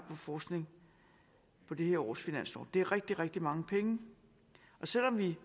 på forskning på det her års finanslov det er rigtig rigtig mange penge og selv om vi